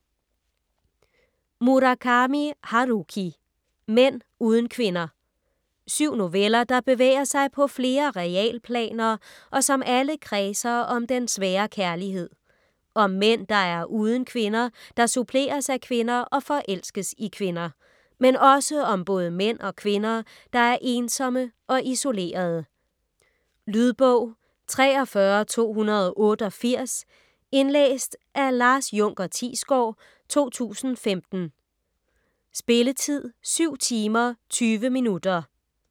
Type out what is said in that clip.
Murakami, Haruki: Mænd uden kvinder Syv noveller, der bevæger sig på flere realplaner, og som alle kredser om den svære kærlighed. Om mænd der er uden kvinder, der suppleres af kvinder og forelskes i kvinder. Men også om både mænd og kvinder der er ensomme og isolerede. Lydbog 43288 Indlæst af Lars unker Thiesgaard, 2015. Spilletid: 7 timer, 20 minutter.